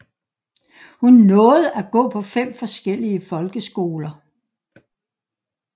Hun nåede at gå på fem forskellige folkeskoler